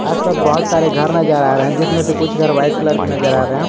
आसपास बहुत सारे घर नजर आ रहे हैं जिसमें से कुछ घर व्हाइट कलर के नजर आ रहे हैं।